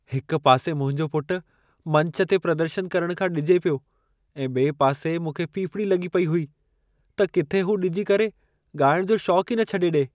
हिक पासे मुंहिंजो पुट मंच ते प्रदर्शन करण खां ॾिॼे पियो ऐं ॿिए पासी मूंखे फ़िफ़िड़ी लॻी पई हुई, त किथे हू ॾिॼी करे ॻाइण जो शौंक ई छॾे ॾिए।